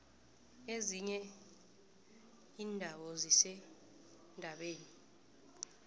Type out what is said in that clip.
ezinye indawo zisendabeni